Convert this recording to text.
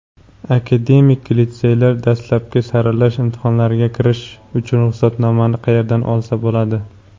Akademik litseylar dastlabki saralash imtihonlariga kirish uchun ruxsatnomani qayerdan olsa bo‘ladi?.